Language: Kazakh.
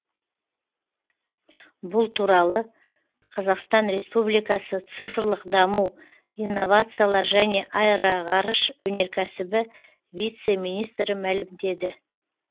бұл туралы қазақстан республикасы цифрлық даму инновациялар және аэроғарыш өнеркәсібі вице министрі мәлімдеді